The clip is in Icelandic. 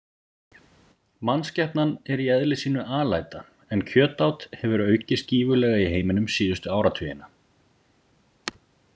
Mannskepnan er í eðli sínu alæta en kjötát hefur aukist gífurlega í heiminum síðustu áratugina.